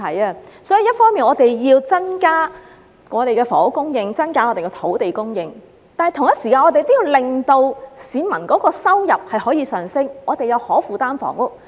為此，政府一方面要增加房屋供應和土地供應，另一方面要同時令市民的收入上升、香港有可負擔的房屋。